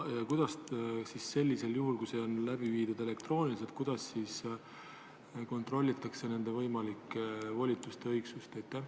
Kuidas sellisel juhul, kui koosolek on läbi viidud elektrooniliselt, kontrollitakse võimalike volituste õigsust?